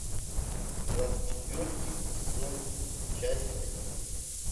класс четвертый сезон часть одиннадцать